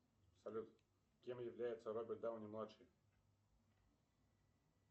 салют кем является роберт дауни младший